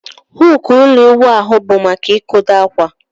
Huku ụlọ iwụ ahụ bu maka ikodo akwa.